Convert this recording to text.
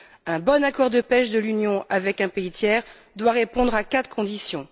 Un bon accord de pêche de l'Union avec un pays tiers doit répondre à quatre conditions.